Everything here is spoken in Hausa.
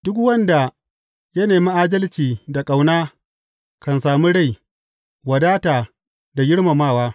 Duk wanda ya nemi adalci da ƙauna kan sami rai, wadata da girmamawa.